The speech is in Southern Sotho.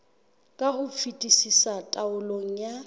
ka ho fetisisa taolong ya